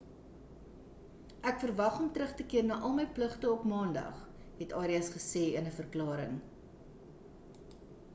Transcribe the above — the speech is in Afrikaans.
ek verwag om terug te keer na al my pligte op maandag het arias gesê in 'n verklaring